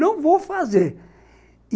Não vou fazer.